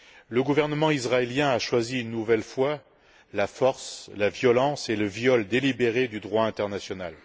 Le gouvernement israélien a choisi une nouvelle fois la force, la violence et le viol délibéré du droit international.